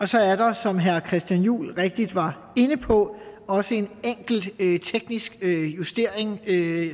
så er der som herre christian juhl rigtigt var inde på også en enkelt teknisk justering